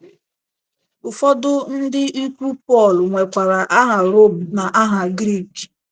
Ụfọdụ ndị ikwu Pọl nwekwara aha Rom na aha Grik.